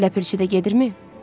Ləpirçi də gedirmi?